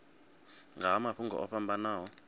nga ha mafhungo o fhambanaho